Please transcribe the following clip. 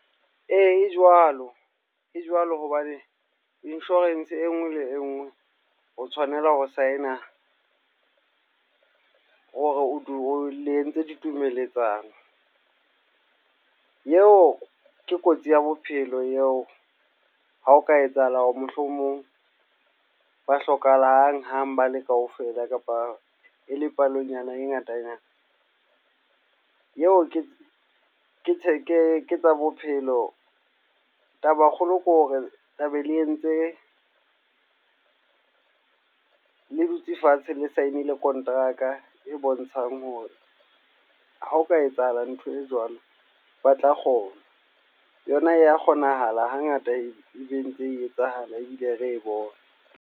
Ee, jwalo. E jwalo hobane insurance e nngwe le engwe o tshwanela ho sign-a, hore o dule o le entse ditumeletsano. Eo ke kotsi ya bophelo ya ha o ka etsahala hore mohlomong ba hlokahalang hang-hang bale kaofela kapa e le palonyana e ngatanyana. Eo ke ke theke ke tsa bophelo. Taba kgolo ke hore tlabe le entse, le dutse fatshe le sign-ile kontraka e bontshang hore ha o ka etsahala ntho e jwalo, ba tla kgona. Yona e ya kgonahala hangata e be ntse etsahala ebile re e bona.